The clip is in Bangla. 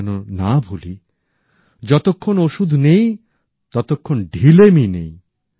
আমরা যেন না ভুলি যতক্ষণ ওষুধ নেই ততক্ষণ ঢিলেমি নেই